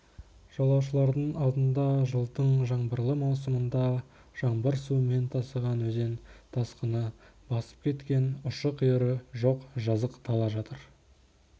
жолаушылардың алдында жылдың жаңбырлы маусымында жаңбыр суымен тасыған өзен тасқыны басып кеткен ұшы-қиыры жоқ жазық дала жатыр